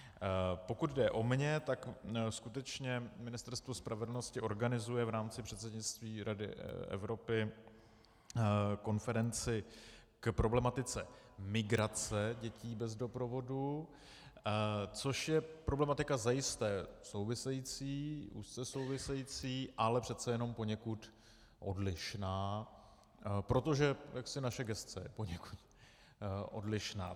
Pokud jde o mě, tak skutečně Ministerstvo spravedlnosti organizuje v rámci předsednictví Rady Evropy konferenci k problematice migrace dětí bez doprovodu, což je problematika zajisté související, úzce související, ale přece jen poněkud odlišná, protože naše gesce je poněkud odlišná.